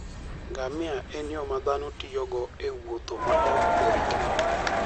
Ngamia en yo ma dhano tiyogo e wuotho ma ok orikni